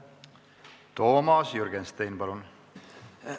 Toomas Jürgenstein, palun!